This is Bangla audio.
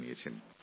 উনি জানিয়েছেন